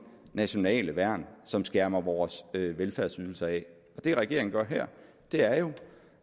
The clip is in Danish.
nationale værn som skærmer vores velfærdsydelser af og det regeringen gør her er jo